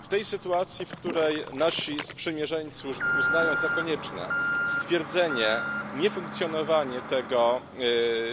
W tej sytuacji, w której nasi sprzymierzeńcy uznają za konieczne stwierdzenie niefunkcjonowania tego